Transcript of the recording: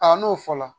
Aa n'o fɔla